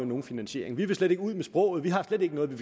nogen finansiering de vil slet ikke ud med sproget de har slet ikke noget vi